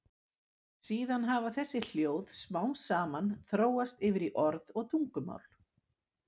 Síðan hafi þessi hljóð smám saman þróast yfir í orð og tungumál.